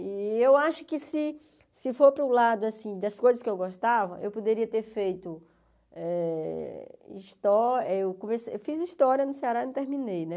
E eu acho que se se for para o lado, assim, das coisas que eu gostava, eu poderia ter feito eh histó... Eu come eu fiz história no Ceará e não terminei, né?